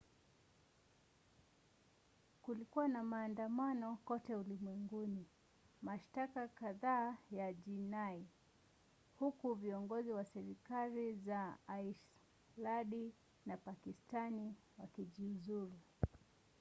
kulikuwa na maandamano kote ulimwenguni mashtaka kadhaa ya jinai huku viongozi wa serikali za aislandi na pakistani wakijiuzulu